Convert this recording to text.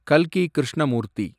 கல்கி கிருஷ்ணமூர்த்தி